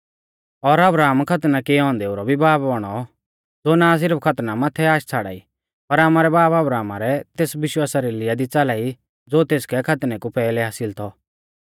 और अब्राहम खतना किऐ औन्देऊ रौ भी बाब बौणौ ज़ो ना सिरफ खतना माथै आश छ़ाड़ाई पर आमारै बाब अब्राहमा रै तेस विश्वासा री लीया दी च़ाला ई ज़ो तेसकै खतनै कु पैहलै हासिल थौ